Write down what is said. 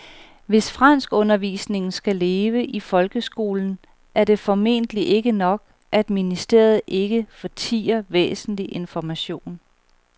Hvis franskundervisningen skal leve i folkeskolen er det formentlig ikke nok, at ministeriet ikke fortier væsentlig information.